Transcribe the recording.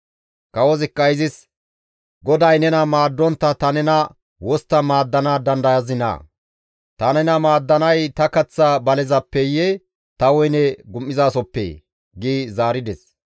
Kawozikka izis, «GODAY nena maaddontta ta nena wostta maaddana dandayazinaa? Ta nena maaddanay ta kaththa balezappeyee ta woyne gum7izasohoppee?» gi zaarides.